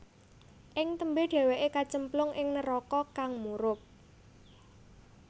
Ing tembé dhèwèké kacemplung ing neraka kang murub